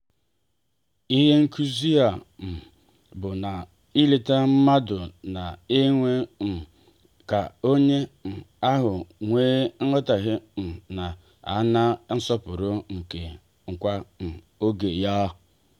ịhe nkụzi a um bụ na-ileta mmadụ na-eme um ka onye um ahụ nwee metuta na ana-asọpụrụ nakwa ege ya nti